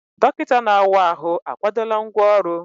Dọkịta na-awa ahụ akwadola ngwá ọrụ?